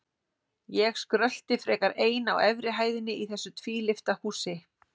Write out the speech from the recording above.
Ég skrölti frekar ein á efri hæðinni í þessu tvílyfta húsi.